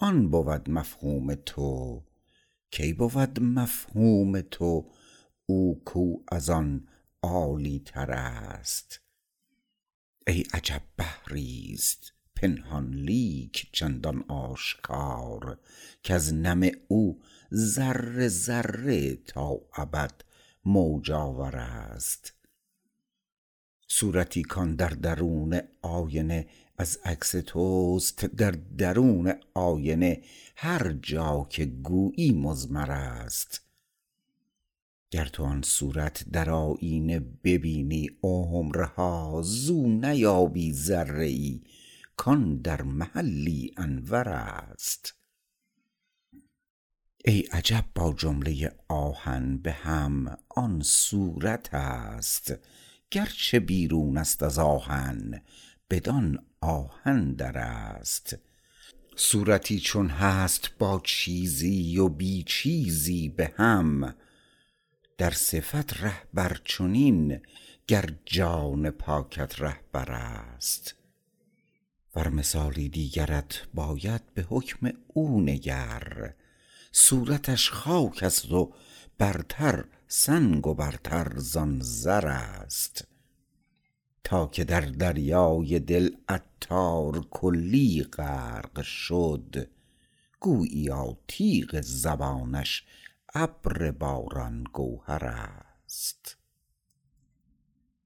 آن بود مفهوم تو کی بود مفهوم تو او کو از آن عالی تر است ای عجب بحری است پنهان لیک چندان آشکار کز نم او ذره ذره تا ابد موج آور است صورتی کان در درون آینه از عکس توست در درون آینه هر جا که گویی مضمر است گر تو آن صورت در آیینه ببینی عمرها زو نیابی ذره ای کان در محلی انور است ای عجب با جمله آهن به هم آن صورت است گرچه بیرون است ازآن آهن بدان آهن در است صورتی چون هست با چیزی و بی چیزی به هم در صفت رهبر چنین گر جان پاکت رهبر است ور مثالی دیگرت باید به حکم او نگر صورتش خاک است و برتر سنگ و برتر زان زر است تا که در دریای دل عطار کلی غرق شد گوییا تیغ زبانش ابر باران گوهر است